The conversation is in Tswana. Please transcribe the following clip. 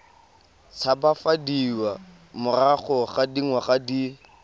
tshabafadiwa morago ga dingwaga di